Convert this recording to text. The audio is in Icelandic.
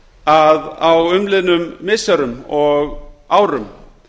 að á umliðnum missirum og árum